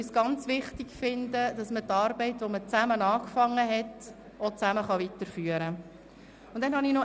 Ich finde es nämlich ganz wichtig, dass man die zusammen angefangene Arbeit auch zusammen weiterführen kann.